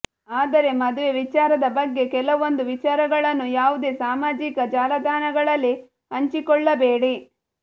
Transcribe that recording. ಆದರೆ ಮದುವೆ ವಿಚಾರದ ಬಗ್ಗೆ ಕೆಲವೊಂದು ವಿಚಾರಗಳನ್ನು ಯಾವುದೇ ಸಾಮಾಜಿಕ ಜಾಲತಾಣಗಳಲ್ಲಿ ಹಂಚಿಕೊಳ್ಳಬೇಡಿ